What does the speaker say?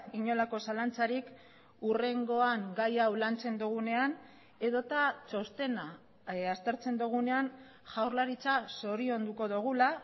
inolako zalantzarik hurrengoan gai hau lantzen dugunean edota txostena aztertzen dugunean jaurlaritza zorionduko dugula